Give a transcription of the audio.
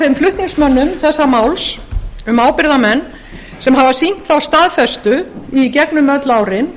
þeim flutningsmönnum þessa máls um ábyrgðarmenn sem hafa sýnt þá staðfestu í gegnum öll árin